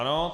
Ano.